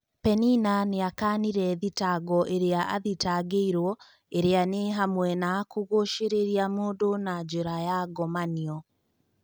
Penina nĩakanire thitango iria athitangĩirwo iria nĩ hamwe na kũgũcĩrĩria mũndũ na njĩra ya ngomanio.